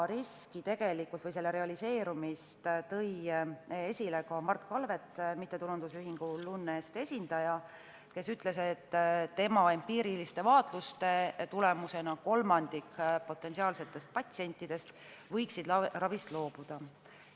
Selle riski realiseerumise ohu tõi esile ka Mart Kalvet, MTÜ Lunest esindaja, kes ütles, et tema empiiriliste vaatluste põhjal võiks kolmandik potentsiaalsetest patsientidest ravist loobuda.